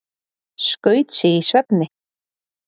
Skaut sig í svefni